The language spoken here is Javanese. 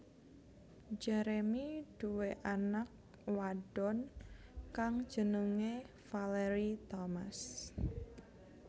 Jeremy duwé anak wadon kang jenengé Valerie Thomas